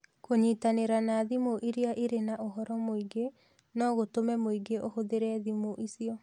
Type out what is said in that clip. Kũnyitanĩra na thimũ iria irĩ na ũhoro mũingĩ no gũtũme mũingĩ ũhũthĩre thimũ icio